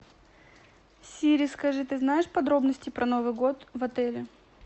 сири скажи ты знаешь подробности про новый год в отеле